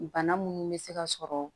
Bana munnu bɛ se ka sɔrɔ